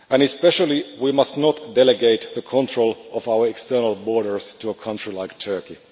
Especially, we must not delegate the control of our external borders to a country like Turkey.